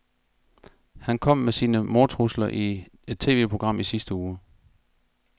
Han kom med sine mordtrusler i et TVprogram i sidste uge.